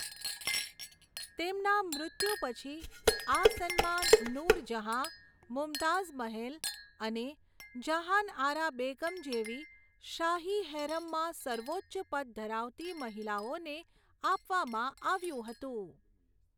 તેમના મૃત્યુ પછી, આ સન્માન નૂરજહાં, મુમતાઝ મહેલ અને જહાનઆરા બેગમ જેવી શાહી હેરમમાં સર્વોચ્ચ પદ ધરાવતી મહિલાઓને આપવામાં આવ્યું હતું.